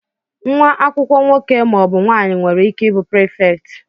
Nwa akwụkwọ nwoke ma ọ bụ nwanyị nwere ike ị bụ prịfèkt.